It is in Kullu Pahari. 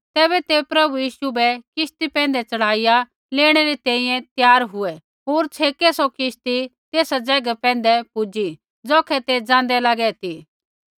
तैबै ते प्रभु यीशु बै किश्ती पैंधै च़ढ़ाइया लेणै री तैंईंयैं त्यार हुऐ होर छ़ेकै सौ किश्ती तेसा ज़ैगा पैंधै पूजी ज़ौखै ते ज़ाँदै लागे ती